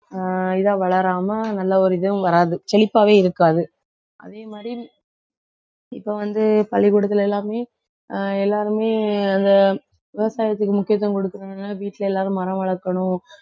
ஆஹ் இதா வளராம நல்ல ஒரு இதுவும் வராது. செழிப்பாவே இருக்காது. அதே மாதிரி இப்ப வந்து பள்ளிக்கூடத்துல எல்லாமே ஆஹ் எல்லாருமே அந்த விவசாயத்துக்கு முக்கியத்துவம் கொடுக்கறவங்க வீட்டில எல்லாரும் மரம் வளர்க்கணும்